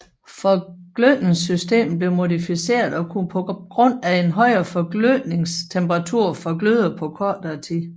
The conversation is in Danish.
Forglødningssystemet blev modificeret og kunne på grund af en højere forglødningstemperatur forgløde på kortere tid